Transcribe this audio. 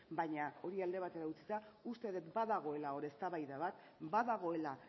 baina hori alde batera utzita uste dut badagoela hor eztabaida bat badagoela